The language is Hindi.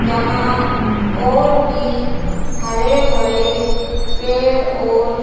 यहां और भी हरे भरे पेड़ और--